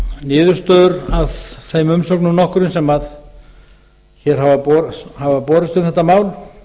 niðurstöður af þeim umsögnum nokkrum sem hér hafa borist um þetta mál